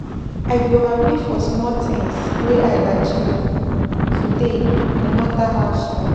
I go happy for small things wey I achieve today, no matter how small.